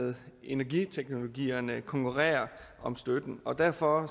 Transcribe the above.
lade energiteknologierne konkurrere om støtten og derfor